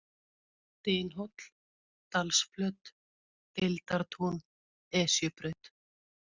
Dynhóll, Dalsflöt, Deildartún, Esjubraut